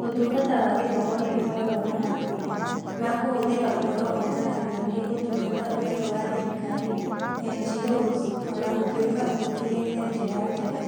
Ũtungata wa Gĩthomo nĩ ũkoragwo na mathĩĩna ma kũhũthĩra ũhoro ũũnganagio nĩ Ũtungata Ũtarĩ wa Thirikari (NGOs), o na gũtuĩka ũhũthĩrĩte njĩra njega.